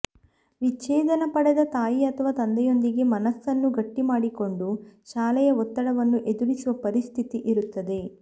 ವಿಚ್ಛೇದನ ಪಡೆದ ತಾಯಿ ಅಥವಾ ತಂದೆಯೊಂದಿಗೆ ಮನಸನ್ನು ಗಟ್ಟಿಮಾಡಿಕೊಂಡು ಶಾಲೆಯ ಒತ್ತಡವನ್ನು ಎದುರಿಸುವ ಪರಿಸ್ಥತಿ ಇರುತ್ತದೆ